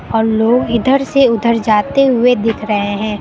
और लोग इधर से उधर जाते हुए दिख रहे हैं।